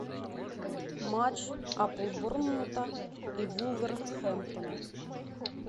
матч апл борнмута и вулверхэмптона